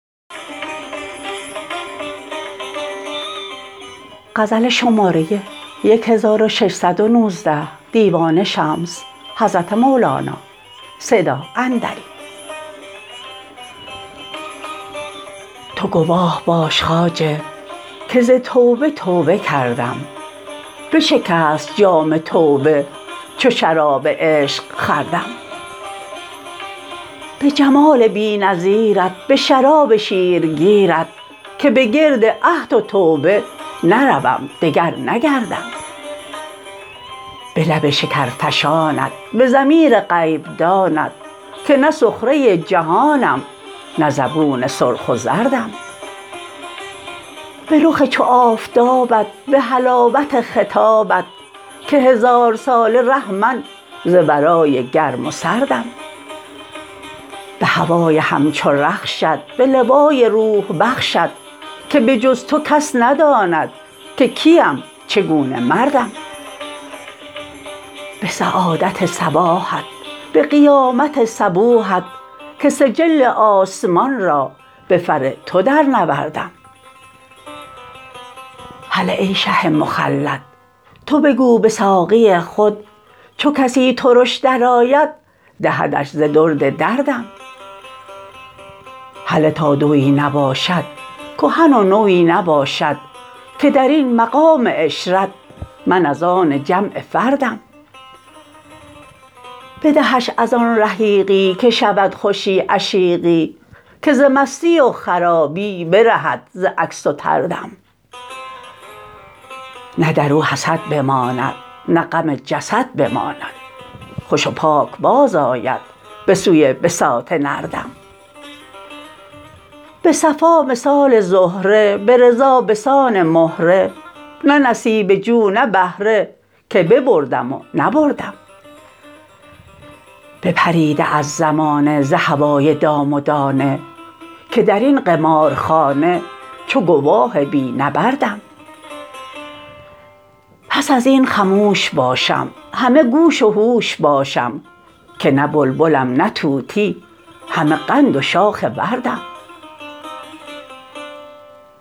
تو گواه باش خواجه که ز توبه توبه کردم بشکست جام توبه چو شراب عشق خوردم به جمال بی نظیرت به شراب شیرگیرت که به گرد عهد و توبه نروم دگر نگردم به لب شکرفشانت به ضمیر غیب دانت که نه سخره جهانم نه زبون سرخ و زردم به رخ چو آفتابت به حلاوت خطابت که هزارساله ره من ز ورای گرم و سردم به هوای همچو رخشت به لوای روح بخشت که به جز تو کس نداند که کیم چگونه مردم به سعادت صباحت به قیامت صبوحت که سجل آسمان را به فر تو درنوردم هله ای شه مخلد تو بگو به ساقی خود چو کسی ترش درآید دهدش ز درد در دم هله تا دوی نباشد کهن و نوی نباشد که در این مقام عشرت من از آن جمع فردم بدهش از آن رحیقی که شود خوشی عشیقی که ز مستی و خرابی برهد ز عکس و طردم نه در او حسد بماند نه غم جسد بماند خوش و پاک بازآید به سوی بساط نردم به صفا مثال زهره به رضا به سان مهره نه نصیبه جو نه بهره که ببردم و نبردم بپریده از زمانه ز هوای دام و دانه که در این قمارخانه چو گواه بی نبردم پس از این خموش باشم همه گوش و هوش باشم که نه بلبلم نه طوطی همه قند و شاخ وردم